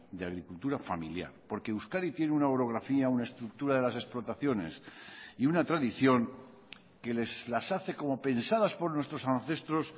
de agricultura familiar porque euskadi tiene una orografía una estructura de las explotaciones y una tradición que las hace como pensadas por nuestros ancestros